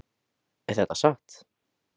Er þetta satt?